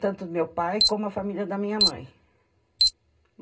Tanto meu pai como a família da minha mãe.